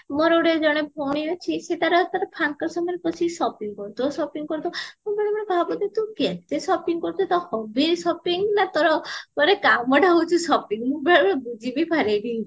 ମୋର ଗୋଟେ ଜଣେ ଭଉଣୀ ଅଛି ତାର ତାର ଫାଙ୍କ ସମୟରେ ବସିକି shopping କରୁଥିବା shopping କରୁଥିବା ମୁଁ ବେଳେ ବେଳେ ଭାବୁଥିବି ତୁ କେତେ shopping କରୁଚୁ ତୋ hobby shopping ନା ମାନେ ତୋର କାମ ଟା ହଉଚି shopping ମୁଁ ବେଳେ ବେଳେ ବୁଝିବି ପରେନି